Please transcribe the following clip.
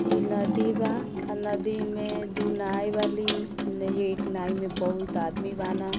इ नदी बा अ नदी में दू नाइ वाली नही एक नाइ में बहुत आदमी बाड़न--